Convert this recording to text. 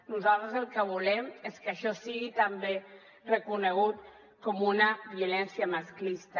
nosaltres el que volem és que això sigui també reconegut com una violència masclista